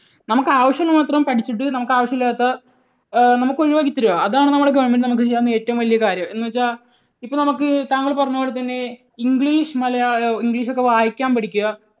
നമുക്ക് ആവശ്യമുള്ളത് മാത്രം പഠിച്ചിട്ട് നമുക്ക് ആവശ്യമില്ലാത്ത ഏർ നമുക്ക് ഒഴിവാക്കി തരിക. അതാണ് government നമുക്ക് ചെയ്യാനുള്ള ഏറ്റവും വലിയ കാര്യം. എന്ന് വെച്ചാൽ ഇപ്പോൾ നമുക്ക് താങ്കൾ പറഞ്ഞതുപോലെ തന്നെ English, മലയാളം, English ഒക്കെ വായിക്കാൻ പഠിക്കുക.